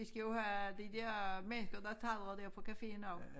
Vi skal jo have de der mennesker der taler der på caféen og